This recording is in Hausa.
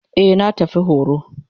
Eh na tafi horo.